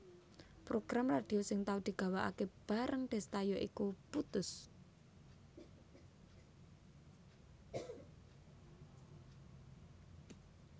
Program radhio sing tau digawakake bareng Desta ya iku Puttus